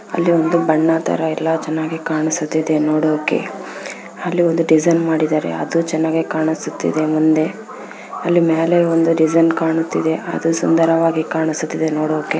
ಅಲ್ಲಿ ಒಂದು ಬಣ್ಣ ತರ ಎಲ್ಲಾ ಚೆನ್ನಾಗಿ ಕಾಣಿಸುತ್ತಿದೆ ನೋಡೋಕೆ ಅಲ್ಲಿ ಒಂದು ಡಿಸೈನ್ ಮಾಡಿದಾರೆ ಅದು ಚೆನ್ನಾಗಿ ಕಾಣಿಸುತ್ತಿದೆ ಮುಂದೆ ಅಲ್ಲಿ ಮ್ಯಾಲೆ ಒಂದು ಡಿಸೈನ್ ಕಾಣುತ್ತಿದೆ ಅದು ಸುಂದರವಾಗಿ ಕಾಣಿಸುತ್ತಿದೆ ನೋಡೋಕೆ.